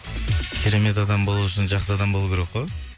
керемет адам болу үшін жақсы адам болу керек қой